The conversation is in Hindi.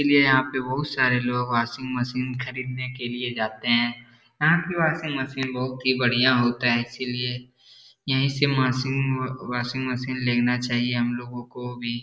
इसीलिए यहाँ पे बहुत सारे लोग वाशिंग मशीन खरीदने के लिए जाते हैं यहाँ की वाशिंग मशीन बहुत ही बढ़िया होता है इसीलिए यहीं से माशिंग वाशिंग मशीन लेना चाहिए हम लोगो को भी।